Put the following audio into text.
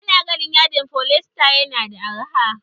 Ana ganin yadin foliesta yana da arha